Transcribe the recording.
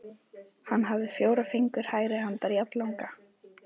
Hann hafði fjóra fingur hægri handar jafnlanga.